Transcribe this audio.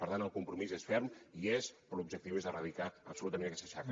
per tant el compromís és ferm hi és però l’objectiu és erradicar absolutament aquesta xacra